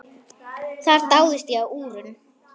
Þar dáðist ég að úrum.